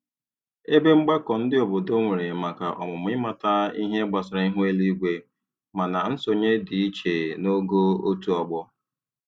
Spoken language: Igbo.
Ebe mgbakọ ndị obodo nwere maka ọmụmụ ịmata ihe gbasara ihu eluigwe, mana nsonye dị iche n'ogo otu ọgbọ.